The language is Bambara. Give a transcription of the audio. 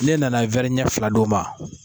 Ne na na wɛri ɲɛ fila d'o ma